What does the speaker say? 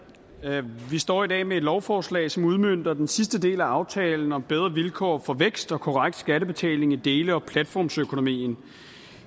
vi står i dag med et lovforslag som udmønter den sidste del af aftalen om bedre vilkår for vækst og korrekt skattebetaling i dele og platformsøkonomien